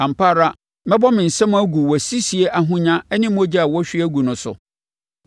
“ ‘Ampa ara mɛbɔ me nsam agu wʼasisie ahonya ne mogya a woahwie agu no so.